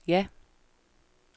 ja